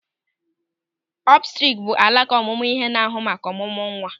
Obsetrik bụ alaka ọmụmụ ihe na-ahụ maka ọ̀mụ̀mụ̀ nwa.